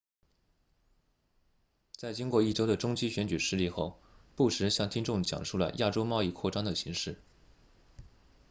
在经过一周的中期选举失利后布什向听众讲述了亚洲贸易扩张的形势